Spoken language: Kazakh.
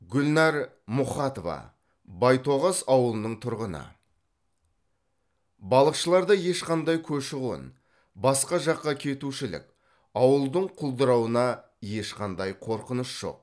гүлнар мұхатова байтоғас ауылының тұрғыны балықшыларда ешқандай көші қон басқа жаққа кетушілік ауылдың құлдырауына ешқандай қорқыныш жоқ